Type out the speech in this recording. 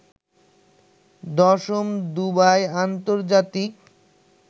১০ম Dubai আন্তর্জাতিক